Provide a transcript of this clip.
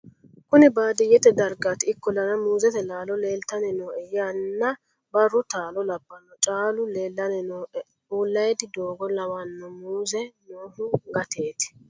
kuni baadiyyet daragati ikkollana muuuzete laalo leeltanni nooe yanna brru taalo labbanno caalu leellanni nooe ullaydi doogo lawanno muuze noohu gateeti